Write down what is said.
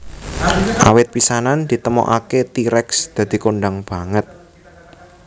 Awit pisanan ditemukaké T rex dadi kondhang banget